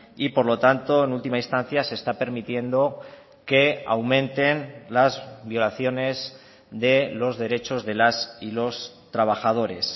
y por lo tanto en última instancia se está permitiendo que aumenten las violaciones de los derechos de las y los trabajadores